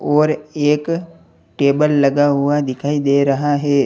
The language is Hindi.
और एक टेबल लगा हुआ दिखाई दे रहा है।